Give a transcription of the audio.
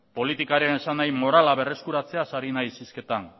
politikaren esanahi morala berreskuratzeaz ari naiz hizketan